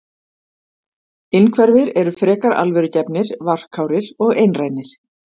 Innhverfir eru frekar alvörugefnir, varkárir og einrænir.